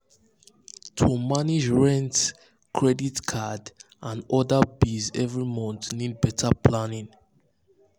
to manage rent credit card and other bills every month need better planning.